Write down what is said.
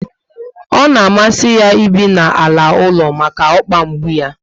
Ọ na amasi ya ibi n'ala ụlọ maka okpa mgbu yá